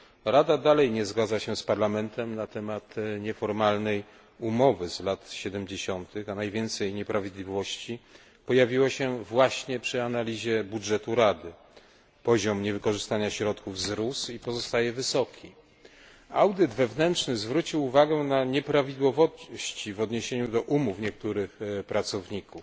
Rada dalej nie zgadza się z Parlamentem w kwestii nieformalnej umowy z lat 70 tych, a najwięcej nieprawidłowości pojawiło się właśnie przy analizie budżetu Rady. Poziom niewykorzystania środków wzrósł i pozostaje wysoki. Audyt wewnętrzny zwrócił uwagę na nieprawidłowości w odniesieniu do umów niektórych pracowników,